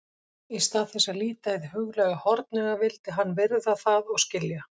Í stað þess að líta hið huglæga hornauga vildi hann virða það og skilja.